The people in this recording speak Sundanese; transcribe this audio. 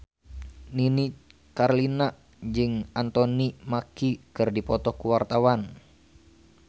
Nini Carlina jeung Anthony Mackie keur dipoto ku wartawan